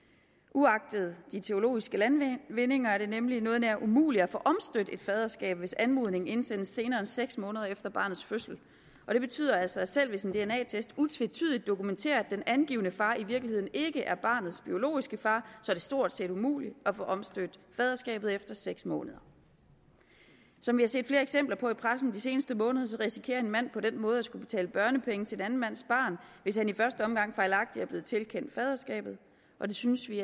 uagtet de teknologiske landvindinger er det nemlig noget nær umuligt at få omstødt et faderskab hvis anmodningen indsendes senere end seks måneder efter barnets fødsel og det betyder altså at selv hvis en dna test utvetydigt dokumenterer at den angivne far i virkeligheden ikke er barnets biologiske far er det stort set umuligt at få omstødt faderskabet efter seks måneder som vi har set flere eksempler på i pressen de seneste måneder risikerer en mand på den måde at skulle betale børnepenge til en anden mands barn hvis han i første omgang fejlagtigt er blevet tilkendt faderskabet og det synes vi